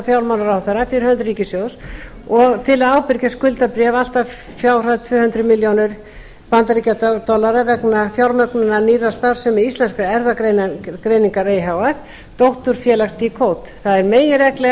fjármálaráðherra fyrir hönd ríkissjóðs til að ábyrgjast skuldabréf allt að fjárhæð tvö hundruð milljónir bandaríkjadollara vegna fjármögnunar nýrrar starfsemi íslenskrar erfðagreiningar e h f dótturfélags decode það er meginregla að